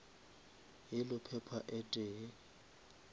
yellow pepper e tee